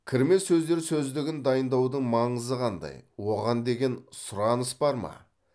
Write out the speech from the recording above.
кірме сөздер сөздігін дайындаудың маңызы қандай оған деген сұраныс бар ма